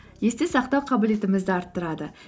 есте сақтау қабілетімізді арттырады